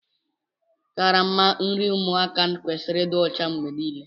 Karama nri ụmụaka kwesịrị ịdị ọcha mgbe niile